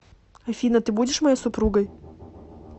афина ты будешь моей супругой